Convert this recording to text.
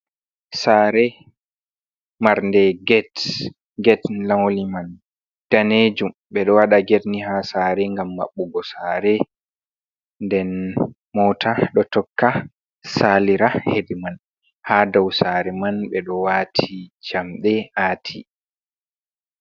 sare mar nde get get n lauli man danejum be ɗo wada get ni ha sare gam maɓɓugo sare, den mota ɗo tokka salira ha nder man, ha dau sare man ɓe ɗo wati jamɗe ati.